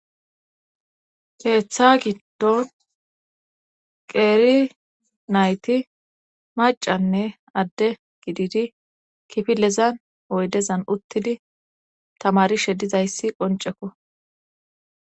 keeththa giddon qeeri nayti macanne adde gididi kifilezan oydezan uttidi tamarishe dizayssi qoncekko